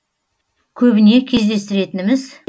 көбіне кездестіретініміз